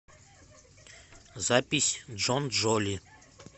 запись джонджоли